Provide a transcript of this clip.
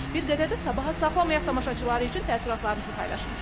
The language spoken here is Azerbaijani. Bir qədər də sabaha saxlamayaq tamaşaçılar üçün təəssüratlarınızı paylaşın.